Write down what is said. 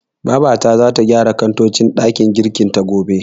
Babata zata gyara kantocin ɗakin girkin ta, gobe.